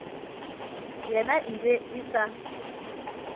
yena e be e sa